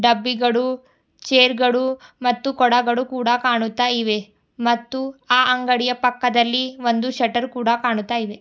ಡಬ್ಬಿಗಳು ಚೇರ್ ಗಳು ಮತ್ತು ಕೊಡಗಳು ಕೂಡ ಕಾಣುತ್ತಾ ಇವೆ ಮತ್ತು ಆ ಅಂಗಡಿಯ ಪಕ್ಕದಲ್ಲಿ ಒಂದು ಶಟರ್ ಕೂಡ ಕಾಣುತ್ತಯಿದೆ.